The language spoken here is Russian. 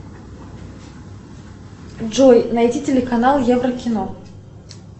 джой найди телеканал еврокино